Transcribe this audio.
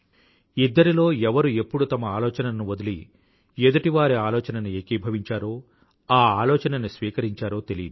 ఇద్దరిలో ఎవరు ఎప్పుడు తమ ఆలోచనను వదిలి ఎదుటివారి ఆలోచనని ఏకీభవించారో ఆ ఆలోచనని స్వీకరించారో తెలీదు